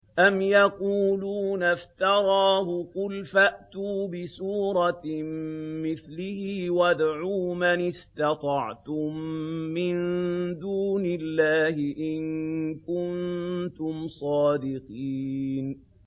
أَمْ يَقُولُونَ افْتَرَاهُ ۖ قُلْ فَأْتُوا بِسُورَةٍ مِّثْلِهِ وَادْعُوا مَنِ اسْتَطَعْتُم مِّن دُونِ اللَّهِ إِن كُنتُمْ صَادِقِينَ